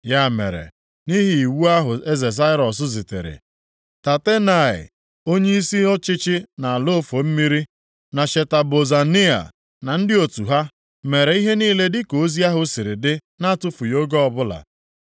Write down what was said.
Ya mere, nʼihi iwu ahụ eze Daraiọs zitere, Tatenai, onyeisi ọchịchị nʼala ofe mmiri, na Sheta Bozenai, na ndị otu ha, mere ihe niile dịka ozi ahụ si dị na-atụfughị oge ọbụla.